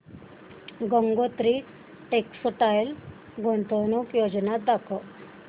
Gangotri textile गुंतवणूक योजना दाखव